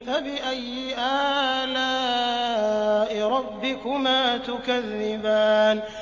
فَبِأَيِّ آلَاءِ رَبِّكُمَا تُكَذِّبَانِ